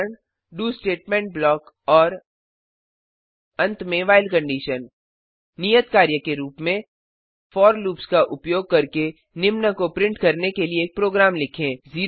उदाहरण do statement block और अंत में व्हाइल कंडीशन नियत कार्य के रूप में फोर लूप्स का उपयोग करके निम्न को प्रिंट करने के लिए एक प्रोग्राम लिखें